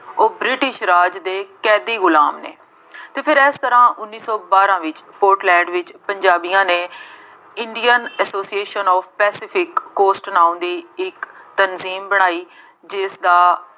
ਉਹ ਬ੍ਰਿਟਿਸ਼ ਰਾਜ ਦੇ ਕੈਦੀ ਗੁਲਾਮ ਨੇ ਅਤੇ ਫੇਰ ਇਸ ਤਰ੍ਹਾਂ ਉੱਨੀ ਸੌ ਬਾਰਾਂ ਵਿੱਚ ਪੋਰਟਲੈਂਡ ਵਿੱਚ ਪੰਜਾਬੀਆਂ ਨੇ Indian Association of Pacific Coast ਨਾਉਂ ਦੀ ਇੱਕ ਤੰਨਜ਼ੀਮ ਬਣਾਈ ਜਿਸਦਾ